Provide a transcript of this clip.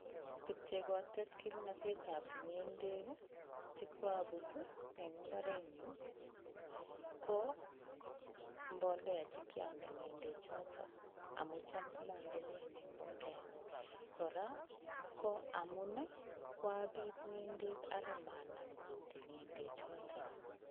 Tuguk che kotes kimnotetab ng'endek chekuobutiin en imbarenyun ko mbolea che kiondee ng'endechoton. Amun cham komondoii ane mbolea, kora ko amun koabiit ng'endek ak maanam kuutik ng'endechotok.